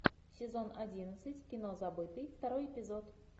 сезон одиннадцать кино забытый второй эпизод